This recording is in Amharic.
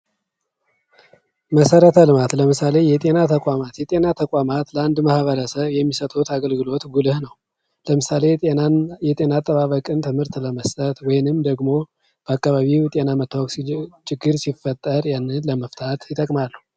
መሰረተ ልማት ለምሳሌ የጤና ተቋማት የጤና ተቋማት ለአንድ ማህበረሰብ የሚሰጡት አገልግሎት ጉልህ ነው ለምሳሌ የጤና አጠባበቅን ትምህርት ለመስጠት ወይም ደግሞ በአካባቢው ጤና መታወቅ ሲጀምር ችግር ሲፈጠር ያንን ለመፍታት ይጠቅማሉ።